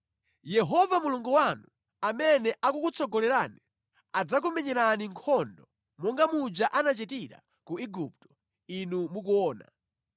Yehova Mulungu wanu, amene akukutsogolerani, adzakumenyerani nkhondo monga muja anachitira ku Igupto inu mukuona,